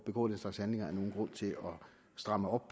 begå den slags handlinger er nogen grund til at stramme op